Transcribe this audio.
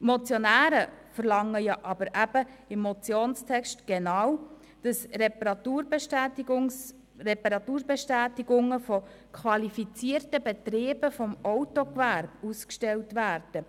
Die Motionäre verlangen aber im Motionstext, dass Reparaturbestäti- gungen von qualifizierten Betrieben des Autogewerbes ausgestellt werden.